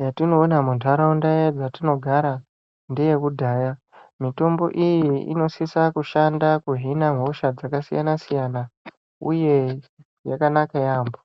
,yatinoona muntaraunda yadzatinogara ngeyekudhaya. Mitombo iyi inosisa kushanda kuhina hosha dzakasiyana-siyana, uye yakanaka yaampho.